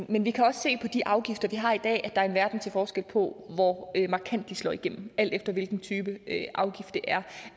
men vi kan også se på de afgifter vi har i dag at er en verden til forskel på hvor markant de slår igennem alt efter hvilken type afgift det er